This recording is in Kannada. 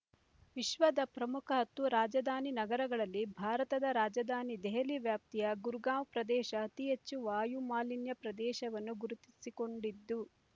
ವಿಶ್ವದ ಪ್ರಮುಖ ಹತ್ತು ರಾಜಧಾನಿ ನಗರಗಳಲ್ಲಿ ಭಾರತದ ರಾಜಧಾನಿ ದೆಹಲಿ ವ್ಯಾಪ್ತಿಯ ಗುರ್‌ಗಾಂವ್ ಪ್ರದೇಶ ಅತಿ ಹೆಚ್ಚು ವಾಯು ಮಾಲಿನ್ಯ ಪ್ರದೇಶವೆಂದು ಗುರುತಿಸಿಕೊಂಡಿದ್ದು